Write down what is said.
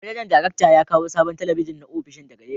Manajan darakta ya kawo sabon talabijin na opishin ,daga Legas.